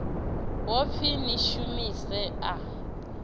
ho pfi ni shumise a